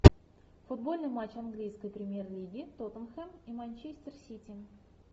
футбольный матч английской премьер лиги тоттенхэм и манчестер сити